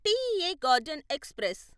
TEA garden express